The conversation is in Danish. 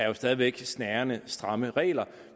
jo stadig væk er snærende og stramme regler